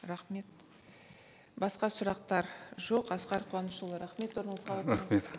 рахмет басқа сұрақтар жоқ асқар қуанышұлы рахмет орныңызға отырыңыз